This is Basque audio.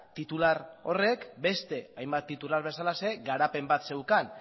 titular horrek beste hainbat titular bezalaxe garapen bat zeukan